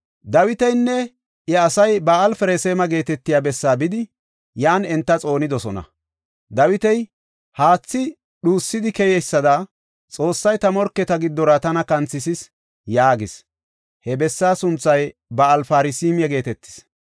Dawitinne iya asay Ba7al-Parasime geetetiya bessaa bidi yan enta xoonidosona. Dawiti, “Haathi dhuusidi keyeysada Xoossay ta morketa giddora tana kanthisis” yaagis. He bessaa sunthay Ba7al-Parasime geetetis.